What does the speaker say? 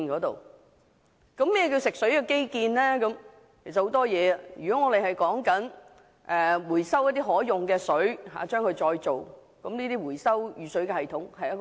當中可包括很多項目，例如興建回收和再造可用水的設施，以及回收雨水系統等。